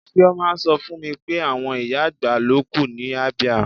Chioma sọ fún mi pé àwọn ìyá-àgbà ló kù ní Abia.